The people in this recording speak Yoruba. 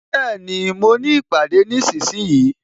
Bẹẹni, mo ní ìpàdé nísinsìnyí